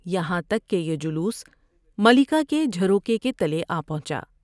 یہاں تک کہ یہ جلوس ملکہ کے جھروکے کے تلے آ پہنچا ۔